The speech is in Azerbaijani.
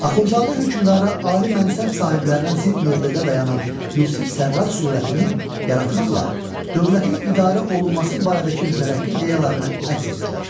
Axundzadə hökmdara ali mənsəb sahiblərinə zidd mövqedə dayanan Yusif Sərraç surətini yaratmaqla dövlətin idarə olunması barədəki mütərəqqi ideyalarını əks etdirmişdir.